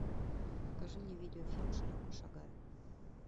покажи мне видеофильм широко шагая